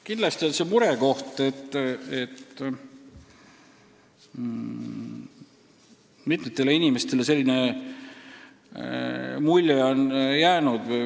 Kindlasti valmistab see muret, et mitmetele inimestele selline mulje on jäänud.